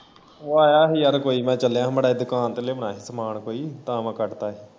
ਓ ਆਇਆ ਸੀ ਯਾਰ ਕੋਈ ਮੈਂ ਚੱਲਿਆ ਹੀ ਮਾੜਾ ਜੇਹਾ ਦੁਕਾਨ ਤੋਂ ਲਿਆਨਾ ਹੀ ਸਮਾਨ ਕੋਈ ਤਾਂ ਮੈਂ ਕੱਟ ਤਾਂ ਹੀ।